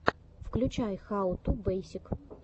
включай хау ту бейсик